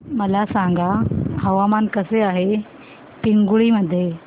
मला सांगा हवामान कसे आहे पिंगुळी मध्ये